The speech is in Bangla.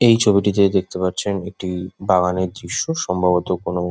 এই ছবিটি যে দেখতে পাচ্ছেন একটি বাগানের দৃশ্য সম্ভবত কোনো--